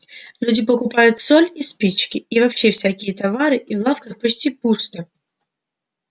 люди покупают соль и спички и вообще всякие товары и в лавках почти пусто